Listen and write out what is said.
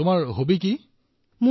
বাহিৰলৈ গলে double mask পিন্ধো